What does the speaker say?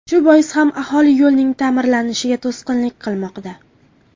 Shu bois ham aholi yo‘lning ta’mirlanishiga to‘sqinlik qilmoqda.